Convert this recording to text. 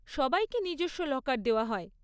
সবাইকে নিজস্ব লকার দেওয়া হয়।